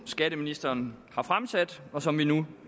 skatteministeren har fremsat og som vi nu